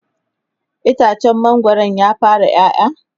itacen mangwaron ya fara ƴaƴa?